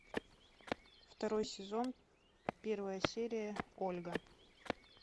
второй сезон первая серия ольга